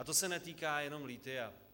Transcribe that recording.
A to se netýká jenom lithia.